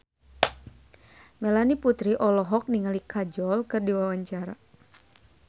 Melanie Putri olohok ningali Kajol keur diwawancara